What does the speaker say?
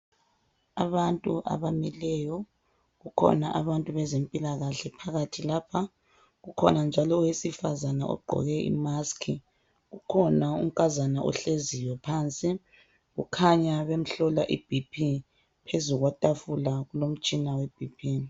Abantu abamileyo kukhona bantu bezempilakahle phakathi lapha kukhona njalo owesifazana ogqoke I mask kukhona unkazana ohleziyo phansi kukhanya bemhlola I BP phezukwetafula kulomtshina we BP